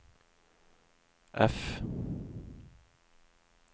F